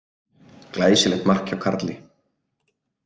Glæsilegt mark hjá Karli.